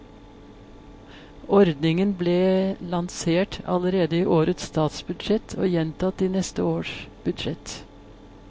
Ordningen ble lansert allerede i årets statsbudsjett og gjentatt i neste års budsjett.